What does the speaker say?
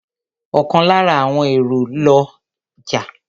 Ọ̀kan lára àwọn èrò la jẹ́.